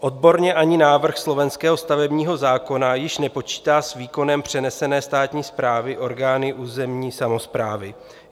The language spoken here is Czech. Odborně ani návrh slovenského stavebního zákona již nepočítá s výkonem přenesené státní správy orgány územní samosprávy.